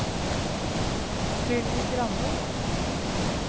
Sylvi Grande